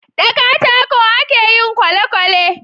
da katako a ke yin kwalekwale